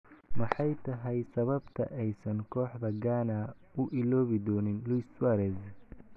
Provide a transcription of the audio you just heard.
Maxay tahay sababta aysan kooxda Ghana u iloobi doonin Luis Suarez?